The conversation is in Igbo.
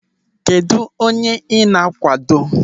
Kedụ onye ị na-akwado?